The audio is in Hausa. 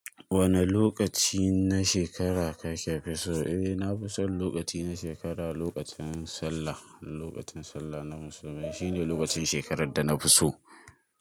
Wane lokaci na shekara kake fi so? Eh na fi son lokaci na shekara, lokacin Sallah. Lokacin Sallah na musulmai shine lokacin shekarar da na fi so.